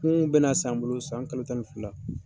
bɛ n'a san bolo san kalo tan ni fila.